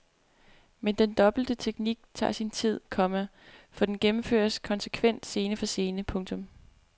Men den dobbelte teknik tager sin tid, komma for den gennemføres konsekvent scene for scene. punktum